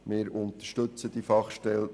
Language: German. Wir unterstützen die Fachstelle.